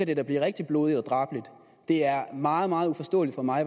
det da blive rigtig blodigt og drabeligt det er meget meget uforståeligt for mig